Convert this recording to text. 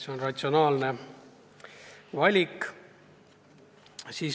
See on ratsionaalne valik.